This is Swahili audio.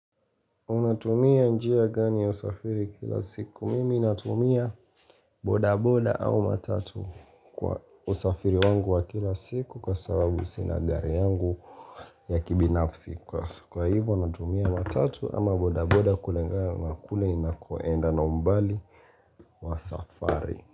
Unatumia njia gani ya usafiri kila siku? Mimi natumia boda boda au matatu kwa usafiri wangu wa kila siku kwa sababu sinagari yangu ya kibinafsi. Kwa hivyo natumia matatu ama boda boda kulingana na kule nakoenda na umbali wa safari.